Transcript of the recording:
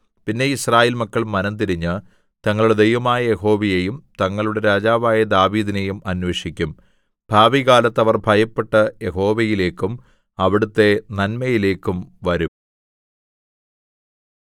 പിന്നെ യിസ്രായേൽ മക്കൾ മനംതിരിഞ്ഞ് തങ്ങളുടെ ദൈവമായ യഹോവയെയും തങ്ങളുടെ രാജാവായ ദാവീദിനെയും അന്വേഷിക്കും ഭാവികാലത്ത് അവർ ഭയപ്പെട്ട് യഹോവയിലേക്കും അവിടുത്തെ നന്മയിലേക്കും വരും